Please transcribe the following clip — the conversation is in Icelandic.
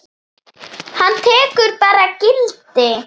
Hann tekur bara gildi?